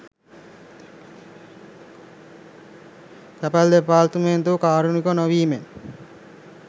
තැපැල් දෙපාර්තමේන්තුව කාරුණික නොවීමෙන්